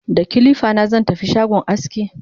da kilifa na zan tafi shagon aski